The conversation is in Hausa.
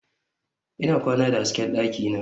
Ina kwana da hasken dakina.